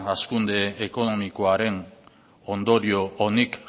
hazkunde ekonomikoaren ondorio onik